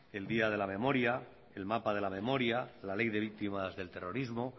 el día de la memoria el mapa de la memoria la ley de víctimas del terrorismo